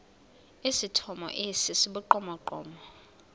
esithomo esi sibugqomogqomo